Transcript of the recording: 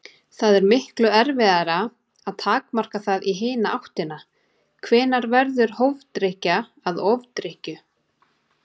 Það er miklu erfiðara að takmarka það í hina áttina: Hvenær verður hófdrykkja að ofdrykkju?